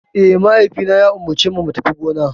Eh, mahaifina ya umarcemu mu tafi gona.